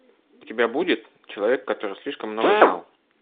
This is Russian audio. у тебя будет человек который слишком много знал